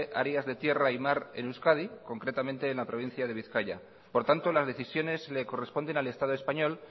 áreas de tierra y mar en euskadi concretamente en la provincia de bizkaia por tanto las decisiones le corresponden al estado español